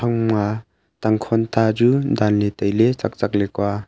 tangkhon ta chu danley tailey tsaktsak lekua.